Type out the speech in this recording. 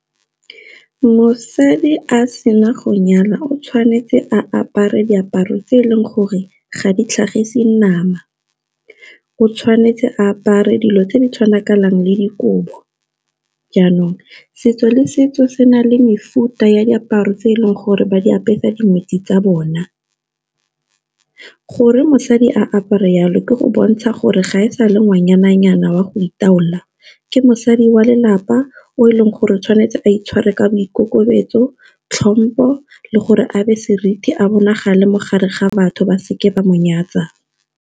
Mosadi a sena go nyala o tshwanetse a apare diaparo tse e leng gore ga di tlhagise nama, o tshwanetse a apare dilo tse di tshwanakanang le dikobo. Jaanong setso le setso se na le mefuta ya diaparo tse e leng gore ba di apesa dingwetsi tsa bona, gore mosadi a apara jalo ke go bontsha gore ga e sa le ngwanyana nyana wa go itaola, ke mosadi wa lelapa o e leng gore tshwanetse a itshware ka boikokobetso tlhompo le gore abe seriti a bonagale mogare ga batho ba seke ba mo nyatsa.